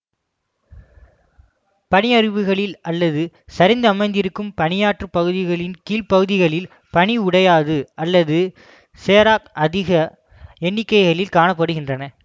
பனியருவிகளில் அல்லது சரிந்து அமைந்திருக்கும் பனியாற்று பகுதிகளின் கீழ்ப்பகுதிகளில் பனி உடைதூ அல்லது இசெராக் அதிக எண்ணிக்கையில் காண படுகின்றன